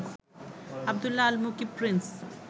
Abdullah Al Mukib Prince